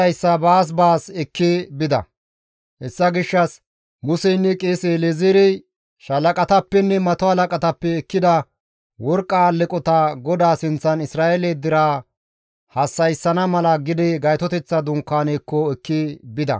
Hessa gishshas Museynne qeese El7ezeerey shalaqatappenne mato halaqatappe ekkida worqqa alleqota GODAA sinththan Isra7eele deraa hassa7isana mala gede Gaytoteththa dunkaanezaakko ekki bida.